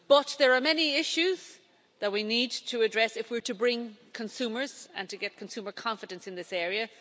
There are many issues that we need to address if we're to bring consumers and to get consumer confidence in this area.